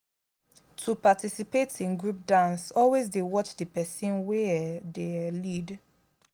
to participate in group dance always de watch di persin wey um de um lead